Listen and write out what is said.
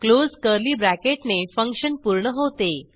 close curly bracket ने function पूर्ण होते